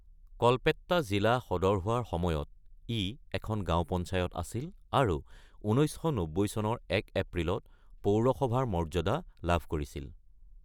কল্পেট্টা জিলা সদৰ হোৱাৰ সময়ত ই এখন গাওঁ পঞ্চায়ত আছিল আৰু ১৯৯০ চনৰ ১ এপ্ৰিলত পৌৰসভাৰ মৰ্যাদা লাভ কৰিছিল।